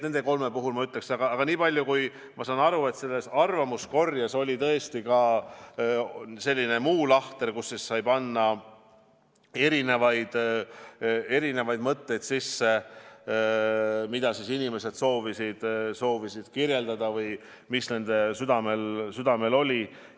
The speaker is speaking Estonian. Aga nii palju, kui ma olen aru saanud, selles arvamuskorjes oli ka selline lahter, kuhu sai kirja panna mitmesuguseid mõtteid, mis inimestel südamel olid.